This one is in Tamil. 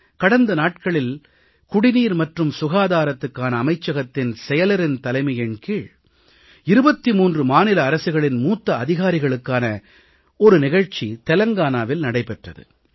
கடந்த நாட்களில் குடிநீர் மற்றும் சுகாதாரத்துக்கான அமைச்சகத்தின் செயலரின் தலைமையின் கீழ் 23 மாநில அரசுகளின் மூத்த அதிகாரிகளுக்கான நிகழ்ச்சி தெலங்கானாவில் நடைபெற்றது